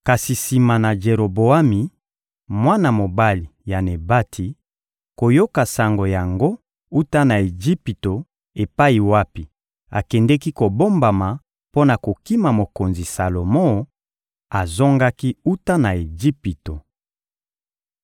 Kasi sima na Jeroboami, mwana mobali ya Nebati, koyoka sango yango wuta na Ejipito epai wapi akendeki kobombama mpo na kokima mokonzi Salomo, azongaki wuta na Ejipito.